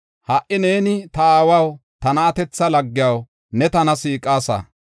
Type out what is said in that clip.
Ha77i neeni, ‘Ta aawaw, ta na7atetha laggiyaw ne tana siiqasa.